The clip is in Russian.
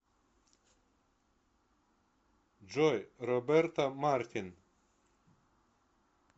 джой роберто мартин